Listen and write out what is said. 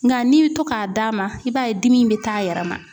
Nka n'i bɛ to k'a d'a ma i b'a ye dimi in bɛ t'a yɛrɛ ma.